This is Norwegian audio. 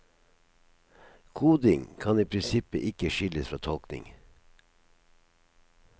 Koding kan i prinsippet ikke skilles fra tolkning.